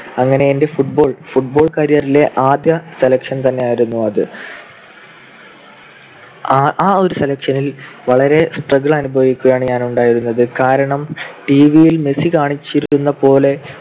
അങ്ങനെ എന്റെ football ~ football career ലെ ആദ്യ selection തന്നെയായിരുന്നു അത്. ആ ഒരു selection ൽ വളരെ struggle അനുഭവിച്ചാണ് ഞാൻ ഉണ്ടായിരുന്നത്. കാരണം TV ൽ മെസ്സി കാണിച്ചിരുന്നതുപോലെ